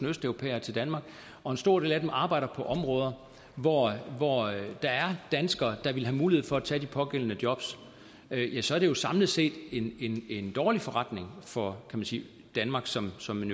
østeuropæere til danmark og en stor del af dem arbejder på områder hvor der er danskere der ville have mulighed for at tage de pågældende jobs ja så er det jo samlet set en dårlig forretning for kan man sige danmark som som en